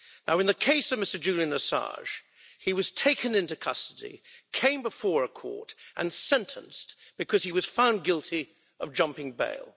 In the case of Mr Julian Assange, he was taken into custody, came before a court and sentenced, because he was found guilty of jumping bail.